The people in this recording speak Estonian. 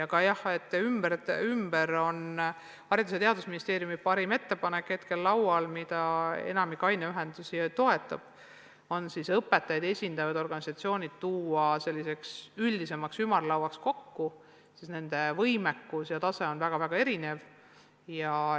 Aga jah, praegu on laual Haridus- ja Teadusministeeriumi ettepanek, mida enamik aineühendusi toetab, nimelt, tuua õpetajaid esindavad organisatsioonid üldisemaks ümarlauaks kokku, sest nende võimekus ja tase on väga erinev.